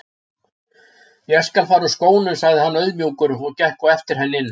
Ég skal fara úr skónum sagði hann auðmjúkur og gekk á eftir henni inn.